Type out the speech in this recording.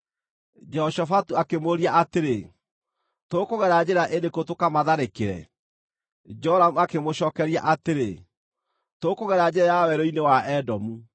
Jehoshafatu akĩmũũria atĩrĩ, “Tũkũgera njĩra ĩrĩkũ tũkamatharĩkĩre?” Joramu akĩmũcookeria atĩrĩ, “Tũkũgera njĩra ya werũ-inĩ wa Edomu.”